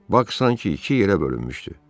Bak sanki iki yerə bölünmüşdü.